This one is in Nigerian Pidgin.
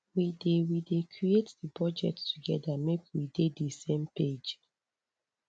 we dey we dey create di budget togeda make we dey di same page